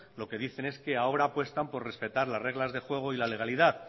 lo que dicen es que ahora apuestan por respetar las reglas del juego y la legalidad